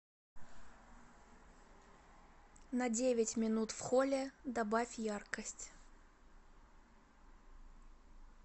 на девять минут в холле добавь яркость